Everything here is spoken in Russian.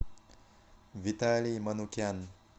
виталий манукян